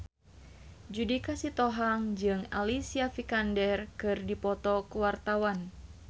Judika Sitohang jeung Alicia Vikander keur dipoto ku wartawan